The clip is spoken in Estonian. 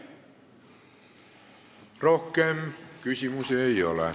Rohkem küsimusi ei ole.